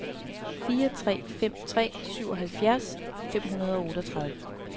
fire tre fem tre syvoghalvfjerds fem hundrede og otteogtredive